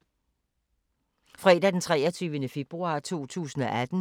Fredag d. 23. februar 2018